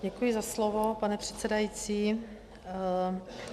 Děkuji za slovo, pane předsedající.